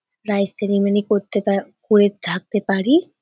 Rice ceremony করতে বা করে থাকতে পারি-ই।